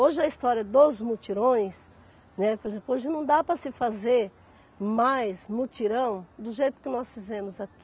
Hoje a história dos mutirões, né, por exemplo, hoje não dá para se fazer mais mutirão do jeito que nós fizemos aqui.